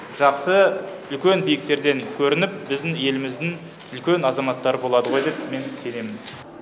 жақсы үлкен биіктерден көрініп біздің еліміздің үлкен азаматтары болады ғой деп мен сенемін